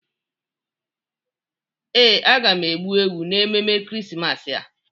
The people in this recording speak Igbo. Ee, aga m egbu ewu n'emume Ekeresimesi a.